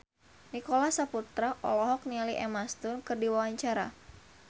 Nicholas Saputra olohok ningali Emma Stone keur diwawancara